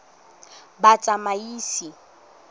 batsamaisi